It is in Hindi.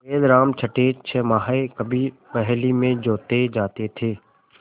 बैलराम छठेछमाहे कभी बहली में जोते जाते थे